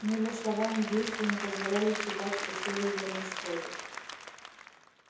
его слова ни действия не позволяли считать что силы его на исходе